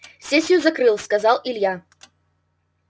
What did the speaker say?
сессию закрыл сказал илья